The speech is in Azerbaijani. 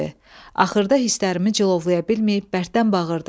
Axırda hislərimi cilovlaya bilməyib bərkdən bağırdım.